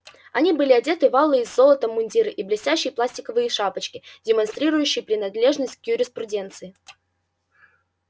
они были одеты в алые с золотом мундиры и блестящие пластиковые шапочки демонстрирующие принадлежность к юриспруденции